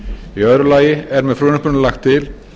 í öðru lagi er með frumvarpinu lagt til